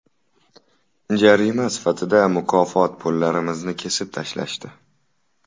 Jarima sifatida mukofot pullarimizni kesib tashlashdi.